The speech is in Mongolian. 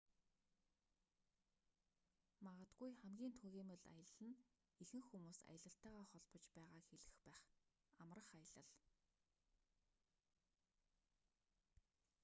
магадгүй хамгийн түгээмэл аялал нь ихэнх хүмүүс аялалтайгаа холбож байгааг хэлэх байх амрах аялал